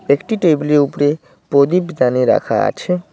একটি টেবিল -এর উপরে প্রদীপদানি রাখা আছে।